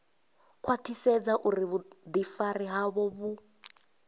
khwaṱhisedza uri vhuḓifari havho vhu